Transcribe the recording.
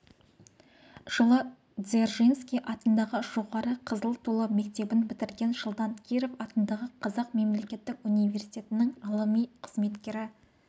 жылы дзержинский атындағы жоғары қызыл тулы мектебін бітірген жылдан киров атындағы қазақ мемлекеттік университетінің ғылыми қызметкері